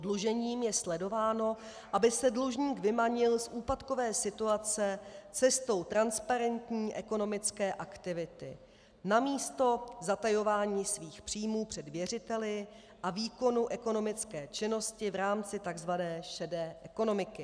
Oddlužením je sledováno, aby se dlužník vymanil z úpadkové situace cestou transparentní ekonomické aktivity namísto zatajování svých příjmů před věřiteli a výkonu ekonomické činnosti v rámci tzv. šedé ekonomiky.